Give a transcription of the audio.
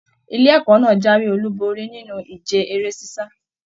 Ilé ẹ̀kọ́ náà jáwé olú borí nínú ìje eré sisa.